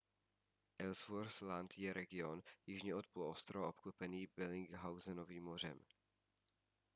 ellsworth land je region jižně od poloostrova obklopený bellingshausenovým mořem